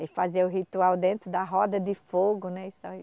E fazia o ritual dentro da roda de fogo, né? Isso aí